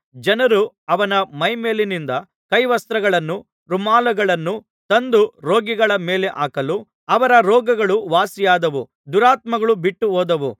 ಜನರು ಅವನ ಮೈಮೇಲಿನಿಂದ ಕೈವಸ್ತ್ರಗಳನ್ನೂ ರುಮಾಲುಗಳನ್ನೂ ತಂದು ರೋಗಿಗಳ ಮೇಲೆ ಹಾಕಲು ಅವರ ರೋಗಗಳು ವಾಸಿಯಾದವು ದುರಾತ್ಮಗಳೂ ಬಿಟ್ಟುಹೋದವು